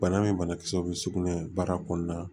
Bana ni banakisɛw bɛ sugunɛ baara kɔnɔna na